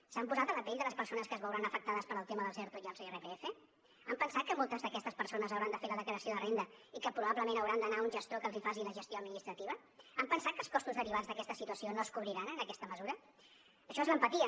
s’han posat a la pell de les persones que es veuran afectades pel tema dels erto i els irpf han pensat que moltes d’aquestes persones hauran de fer la declaració de renda i que probablement hauran d’anar a un gestor que els faci la gestió administrativa han pensat que els costos derivats d’aquesta situació no es cobriran en aquesta mesura això és l’empatia